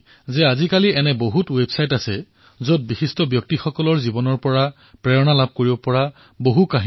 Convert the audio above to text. স্বচ্ছতাৰ এই মহাযজ্ঞত নগৰ নিগম স্বয়ং সেৱী সংগঠন স্কুলকলেজৰ শিক্ষাৰ্থী জব্বলপুৰৰ জনতা জনাৰ্দন সকলোৱে অংশগ্ৰহণ কৰিছে